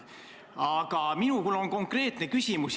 Aga mul on konkreetne küsimus.